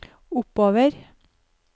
oppover